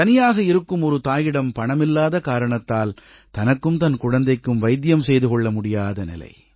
தனியாக இருக்கும் ஒரு தாயிடம் பணம் இல்லாத காரணத்தால் தனக்கும் தன் குழந்தைக்கும் வைத்தியம் பார்த்துக் கொள்ள முடியாத நிலை